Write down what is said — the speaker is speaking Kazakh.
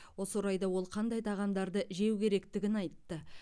осы орайда ол қандай тағамдарды жеу керектігін айтты